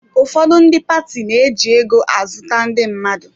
Ụfọdụ ndị paati na-eji ego azụta ndị mmadụ.